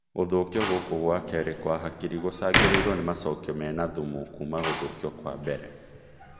Gũthũkio gũkũ gwa kerĩ kwa hakiri gũcũngagĩrĩrio nĩ macokio mena thumu kuma gũthũkio kwa mbere